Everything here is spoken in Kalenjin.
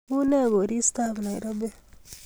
Unee koristob Nairobi